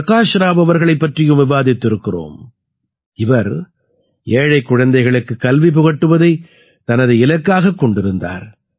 பிரகாஷ் ராவ் அவர்களைப் பற்றியும் விவாதித்திருக்கிறோம் இவர் ஏழைக் குழந்தைகளுக்குக் கல்வி புகட்டுவதைத் தனது இலக்காகக் கொண்டிருந்தார்